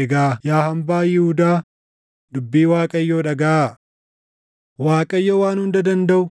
egaa yaa hambaa Yihuudaa, dubbii Waaqayyoo dhagaʼaa. Waaqayyo Waan Hunda Dandaʼu,